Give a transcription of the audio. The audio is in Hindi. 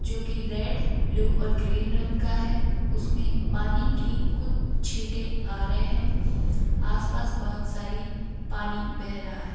जो कि रेड ब्लू और ग्रीन रंग का है उसमें पानी की कुछ छीटे आ रहे हैं आसपास बहुत सारी पानी बह रहा है।